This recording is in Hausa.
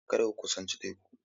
Kada ku kusanci teku!